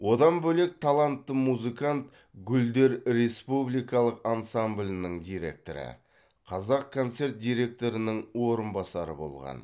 одан бөлек талантты музыкант гүлдер республикалық ансамблінің директоры қазақконцерт директорының орынбасары болған